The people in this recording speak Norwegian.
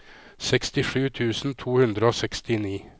sekstisju tusen to hundre og sekstini